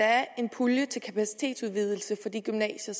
er en pulje til kapacitetsudvidelse for de gymnasier